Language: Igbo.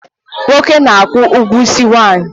Nwoke n' akwụ ụgwọ isi nwanyị